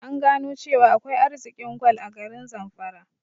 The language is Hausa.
An gano cewa akwai arzikin gwal a garin zamfara